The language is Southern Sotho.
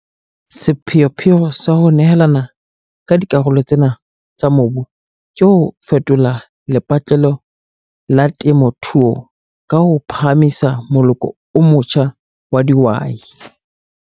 Sepheopheo sa ho nehelana ka dikarolo tsena tsa mobu ke ho fetola lepatlelo la temothuo ka ho phahamisa moloko o motjha wa dihwai.